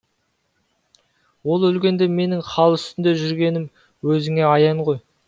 ол өлгенде менің хал үстінде жүргенім өзіңе аян ғой